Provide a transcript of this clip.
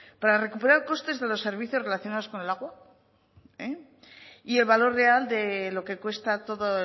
para recuperar costes de los servicios relacionados con el agua y el valor real de lo que cuesta todo